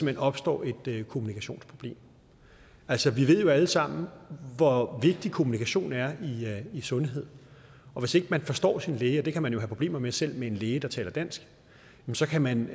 hen opstår et kommunikationsproblem altså vi ved alle sammen hvor vigtig kommunikation er i sundhed og hvis ikke man forstår sin læge og det kan man jo have problemer med selv med en læge der taler dansk så kan man